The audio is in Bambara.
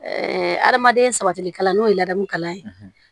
hadamaden sabatili kalan n'o ye ladamu kalan ye